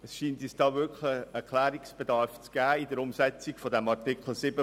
Es scheint uns ein Klärungsbedarf in der Umsetzung von Artikel 7 StBG vorzuliegen.